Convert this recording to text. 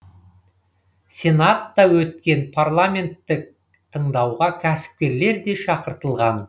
сенатта өткен парламенттік тыңдауға кәсіпкерлер де шақыртылған